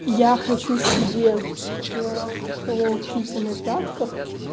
я хочу себе татуировки хэлой кити на пятках